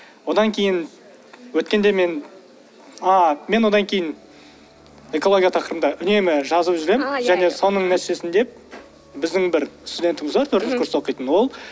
одан кейін өткенде мен а мен одан кейін экология тақырыбында үнемі жазып жүремін және соның нәтижесінде біздің бір студентіміз бар төртінші курста оқитын ол